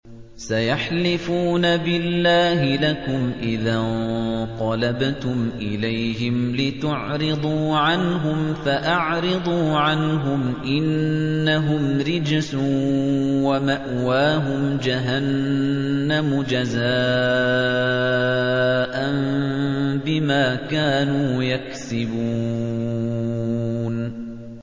سَيَحْلِفُونَ بِاللَّهِ لَكُمْ إِذَا انقَلَبْتُمْ إِلَيْهِمْ لِتُعْرِضُوا عَنْهُمْ ۖ فَأَعْرِضُوا عَنْهُمْ ۖ إِنَّهُمْ رِجْسٌ ۖ وَمَأْوَاهُمْ جَهَنَّمُ جَزَاءً بِمَا كَانُوا يَكْسِبُونَ